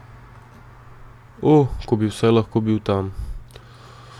O, ko bi vsaj lahko bil tam.